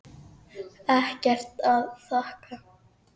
Ekkert að þakka